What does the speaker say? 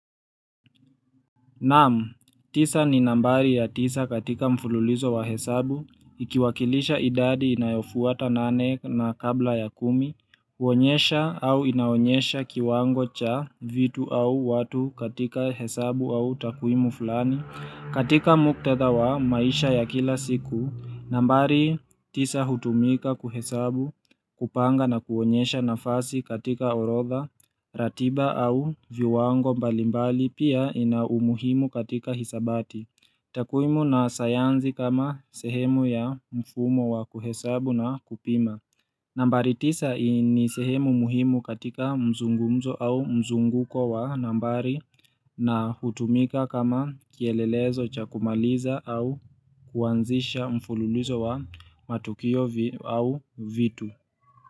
Naam, tisa ni nambari ya tisa katika mfululizo wa hesabu, ikiwakilisha idadi inayofuata nane na kabla ya kumi, uonyesha au inaonyesha kiwango cha vitu au watu katika hesabu au takwimu fulani, katika muktadha wa maisha ya kila siku, nambari tisa hutumika kuhesabu kupanga na kuonyesha nafasi katika orodha, ratiba au viwango mbalimbali pia ina umuhimu katika hisabati takwimu na sayansi kama sehemu ya mfumo wa kuhesabu na kupima nambari tisa ni sehemu muhimu katika mzungumzo au mzunguko wa nambari na hutumika kama kielelezo cha kumaliza au kuanzisha mfululizo wa matukio au vitu.